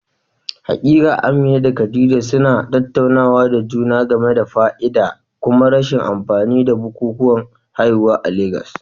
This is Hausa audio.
Haƙiƙa, Amina da Khadija suna tattaunawa da juna game da fa'ida da kuma rashin amfani da bukukuwan haihuwa a Legas.